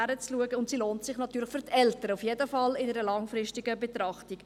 Für Eltern lohnt sich die Kinderbetreuung – jedenfalls in einer langfristigen Betrachtung.